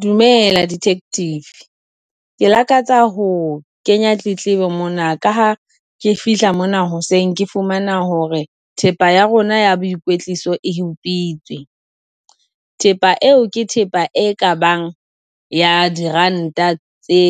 Dumela detective, ke lakatsa ho kenya tletlebo mona ka ha ha ke fihla mona hoseng ke fumana hore thepa ya rona ya boikwetliso e utswitswe, thepa eo ke thepa e ka bang ya diranta tse